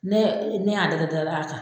Ne y' ne y'a da to dɔ la tan.